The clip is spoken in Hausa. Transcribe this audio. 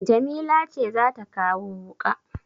Jamila ce za ta kawo wuƙa?